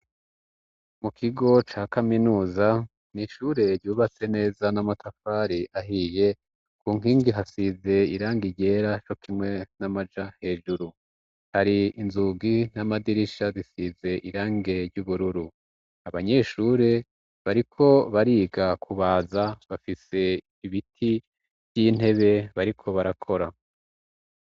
Mu kigo ca kaminuza n'ishure ryubatse neza n'amatafari ahiye ku nkingi hasize irange ryera cokimwe n'amaja hejuru, hari inzugi n'amadirisha bisize irangi ry'ubururu, abanyeshure bariko bariga kubaza bafise ibiti n'intebe bariko barakora.